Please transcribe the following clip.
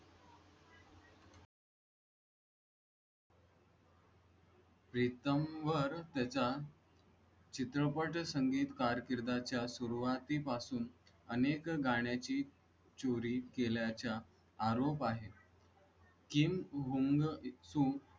प्रीतम वर त्याचा चित्रपट संगीत कारकिर्दी च्या सुरुवातीपासून आणि एक गाण्या ची चोरी केल्या च्या आरोप आहे किम जोंग .